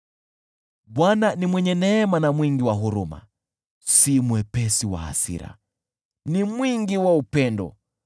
Bwana ni mwenye neema na mwingi wa huruma, si mwepesi wa hasira, bali ni mwingi wa upendo.